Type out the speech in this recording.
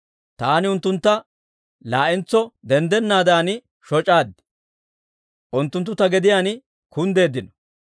Taani unttuntta laa'entso denddennaadan shoc'aad; unttunttu ta gediyaan kunddeeddino.